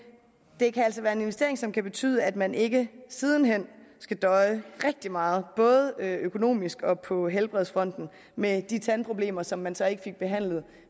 det kan altså være en investering som kan betyde at man ikke siden hen skal døje rigtig meget både økonomisk og på helbredsfronten med de tandproblemer som man så ikke fik behandlet